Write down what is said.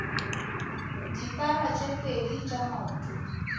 dipara tse pedi tša maoto